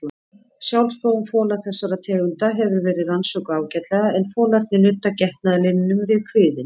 Sjálfsfróun fola þessara tegunda hefur verið rannsökuð ágætlega en folarnir nudda getnaðarlimnum við kviðinn.